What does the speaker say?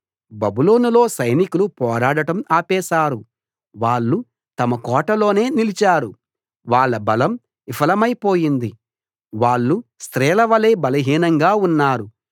బబులోనులో సైనికులు పోరాడటం ఆపేశారు వాళ్ళు తమ కోటలోనే నిలిచారు వాళ్ళ బలం విఫలమై పోయింది వాళ్ళు స్త్రీలవలే బలహీనంగా ఉన్నారు